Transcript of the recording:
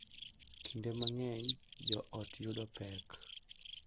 Kinde mang’eny joot yudo pek